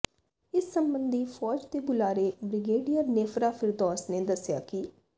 ਇਸ ਸਬੰਧੀ ਫੌਜ ਦੇ ਬੁਲਾਰੇ ਬ੍ਰਿਗੇਡੀਅਰ ਨੇਫਰਾ ਫਿਰਦੌਸ ਨੇ ਦੱਸਿਆ ਕਿ